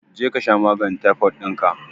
Je kasha maganin taifod dinka